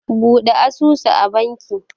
Bude asusu a bankin